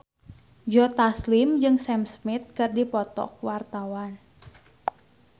Joe Taslim jeung Sam Smith keur dipoto ku wartawan